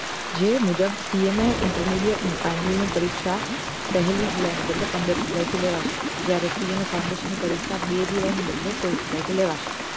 જે મુજબ CA ની intermediate અને ફાઈનલ ની પરીક્ષા પહેલી જુલાઈ ના બદલે પંદર જુલાઈ થી લેવાશે જયારે CA મા foundation ની પરીક્ષા બે જુલાઈ ના બદલે સોળ જુલાઈ થી લેવાશે